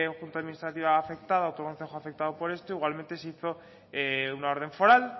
junta administrativa afectada otro concejo afectado por esto igualmente se hizo una orden foral